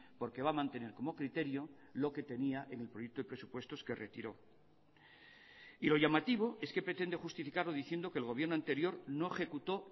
porque va a mantener como criterio lo que tenía en el proyecto de presupuestos que retiró y lo llamativo es que pretende justificarlo diciendo que el gobierno anterior no ejecutó